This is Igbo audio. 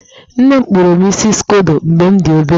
Nne m kpụrụ m isi skodo mgbe m dị obere.